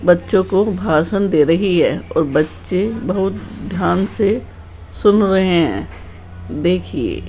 बच्चों को भाषण दे रही है और बच्चे बहुत ध्यान से सुन रहे हैं देखिए।